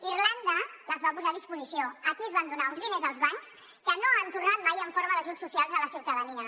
irlanda les va posar a disposició aquí es van donar uns diners als bancs que no han tornat mai en forma d’ajuts socials a la ciutadania